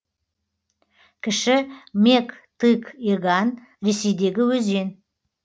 кіші мег тыг еган ресейдегі өзен